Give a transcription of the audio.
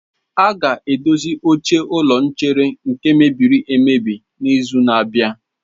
A ga-edozi oche ụlọ nchere nke mebiri emebi n'izu na-abịa.